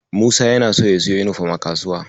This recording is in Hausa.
Musa yana so ya siyo yunifom a kasuwa.